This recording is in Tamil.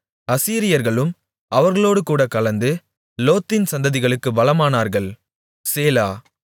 அசீரியர்களும் அவர்களோடேகூடக் கலந்து லோத்தின் சந்ததிகளுக்கு பலமானார்கள் சேலா